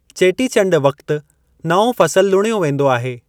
चेटी चंड वक़्ति नओं फ़सलु लुणयो वेंदो आहे।